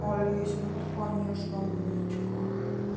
олеся ну ты конечно умничка